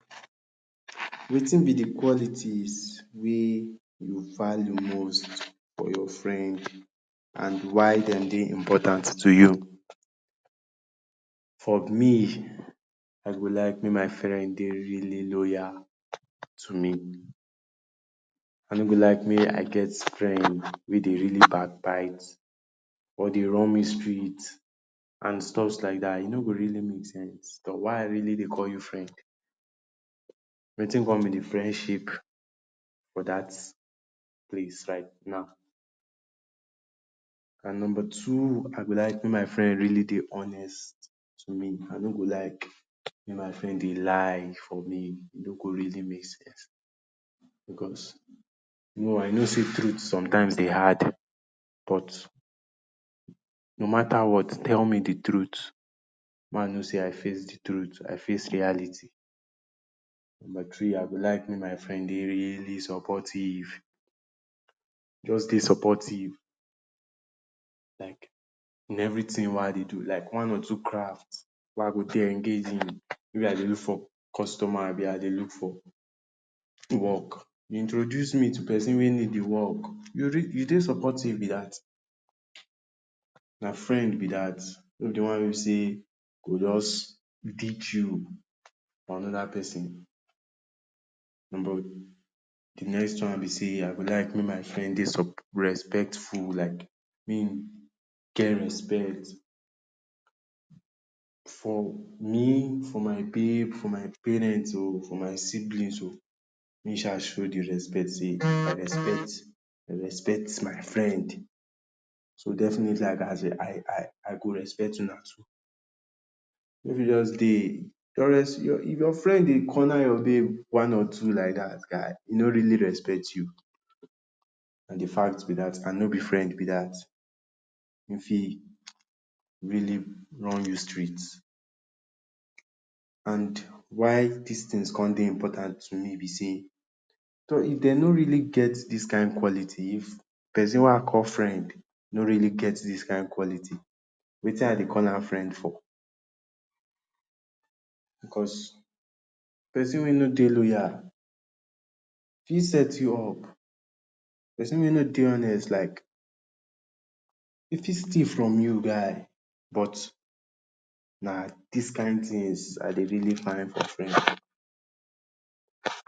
Wetin be de qualities wey you value most for your friend, and why dem dey important to you? For me, I go like make my friend dey really loyal to me. I no go like make I get friend wey dey really backbite, or dey run me street, and stuffs like dat. E no go really make sense. Tor why I really dey call you friend Wetin come be de friendship for dat place right now And number two, I go like make my friend really dey honest to me. I no go like make my friend dey lie for me. E no go really make sense, because no I know sey truth sometimes dey hard, but no matter what tell me de truth, ma know sey I face de truth, I face reality. Number three, I go like make my friend dey really supportive, just dey supportive. Like in everything wey I dey do, like one or two craft wey I go dey engage in, maybe I dey look for customer abi I dey look for work, introduce me to pesin wey need de work. You you dey supportive be dat. Na friend be dat. No be de one wey be sey go just ditch you for another pesin. de next one be sey I go like make my friend dey respectful. Like make im get respect for me, for my babe, for my parents o, for my siblings o, make e sha show de respect sey I respect respect my friend. So definitely I gas dey, I I I go respect una too. You no fit just dey, your your your friend dey corner your babe one or two like dat. Guy e no really respect you, na de fact be dat, and no be friend be dat. Im fit really run you street. And why dis things come dey important to me be sey, tor if dem no really get dis kain quality, if pesin wey I call friend no really get dis kain quality, wetin I dey call am friend for Because pesin wey no dey loyal fit set you up. Pesin wey no dey honest like e fit steal from you guy. But na dis kain things I dey really find for friend.